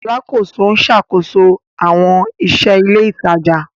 Alakoso n ṣakoso awọn iṣẹ ile itaja